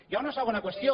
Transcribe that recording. hi ha una segona qüestió